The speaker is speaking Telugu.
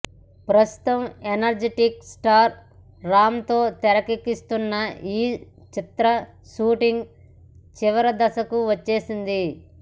ప్రస్తుతం ఎనర్జిటిక్ స్టార్ రామ్తో తెరకెక్కిస్తున్న ఈ చిత్ర షూటింగ్ చివరిదశకు వచ్చేసింది